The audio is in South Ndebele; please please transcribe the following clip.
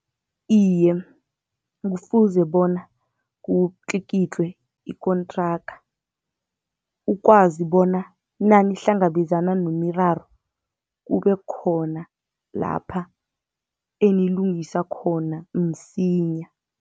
Iye, kufuze bona kutlikitlwe ikontraga, ukwazi bona nanihlangabezana nemiraro kube khona lapha enilungisa khona msinya.